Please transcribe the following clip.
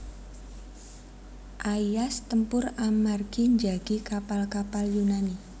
Aias tempur amargi njagi kapal kapal Yunani